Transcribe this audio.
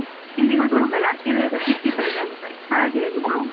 ಗೊತ್ತುಂಟಲಾ ಅತಿ ವೇಗ, ತಿಥಿ ಬೇಗ ಅಂತ ಹಾಗೆ ಇದು.